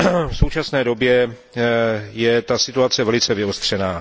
V současné době je situace velice vyostřená.